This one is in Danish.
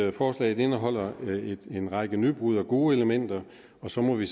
at forslaget indeholder en række nybrud og gode elementer og så må vi